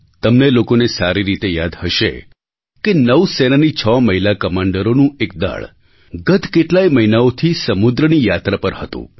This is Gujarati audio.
તમને લોકોને સારી રીતે યાદ હશે કે નૌ સેનાની છ મહિલા કમાન્ડરોનું એક દળ ગત કેટલાય મહિનાઓથી સમુદ્રની યાત્રા પર હતું